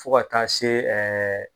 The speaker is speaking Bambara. Fo ka taa se ɛɛ